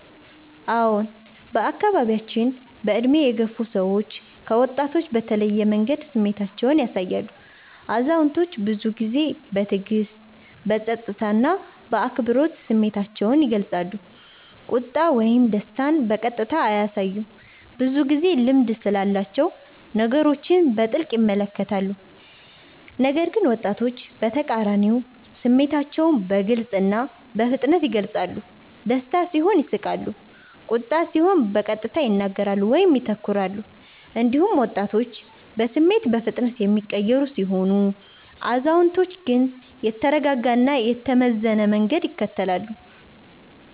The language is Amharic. አዎን፣ በአካባቢያችን በዕድሜ የገፉ ሰዎች ከወጣቶች በተለየ መንገድ ስሜታቸውን ያሳያሉ። አዛውንቶች ብዙ ጊዜ በትዕግስት፣ በጸጥታ እና በአክብሮት ስሜታቸውን ይገልጻሉ፤ ቁጣ ወይም ደስታን በቀጥታ አያሳዩም፣ ብዙ ጊዜ ልምድ ስላላቸው ነገሮችን በጥልቅ ይመለከታሉ። ነገር ግን ወጣቶች በተቃራኒው ስሜታቸውን በግልጽ እና በፍጥነት ይገልጻሉ፤ ደስታ ሲሆን ይስቃሉ፣ ቁጣ ሲሆን በቀጥታ ይናገራሉ ወይም ይተኩራሉ። እንዲሁም ወጣቶች በስሜት በፍጥነት የሚቀየሩ ሲሆኑ፣ አዛውንቶች ግን የተረጋጋ እና የተመዘነ መንገድ ይከተላሉ።